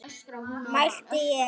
mælti ég.